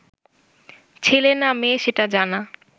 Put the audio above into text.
ছেলে না মেয়ে সেটা জানা